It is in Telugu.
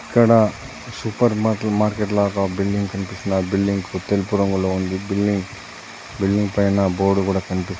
ఇక్కడ సూపర్ మార్కెట్ లాగా బిల్డింగ్ కనిపిస్తున్నది. ఆ బిల్డింగ్కు తెలుపు రంగులో ఉంది. బిల్డింగ్ బిల్డింగ్ పైన బోర్డు కూడా కనిపిస్తున్న--